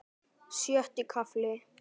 Sjötti kafli